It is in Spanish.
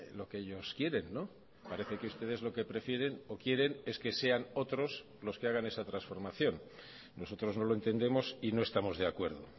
lo que ellos quieren parece que ustedes lo que prefieren o quieren es que sean otros los que hagan esa transformación nosotros no lo entendemos y no estamos de acuerdo